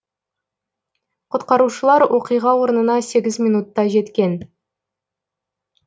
құтқарушылар оқиға орнына сегіз минутта жеткен